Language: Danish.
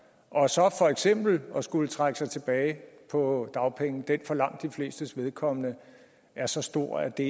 og så for eksempel at skulle trække sig tilbage på dagpenge for langt de flestes vedkommende er så stor at det